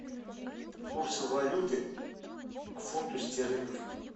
курсы валюты к фунту стерлингов